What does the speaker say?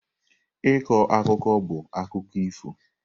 Ịkọ akụkọ bụ akụkọ ifo.